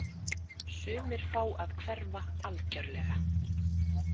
Sumir fá að hverfa algjörlega.